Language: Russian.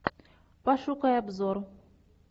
пошукай обзор